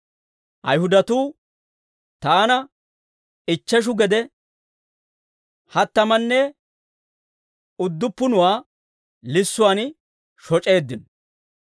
Ayihudatuu taana ichcheshu gede, hattamanne udduppunuwaa lissuwaan shoc'eeddino.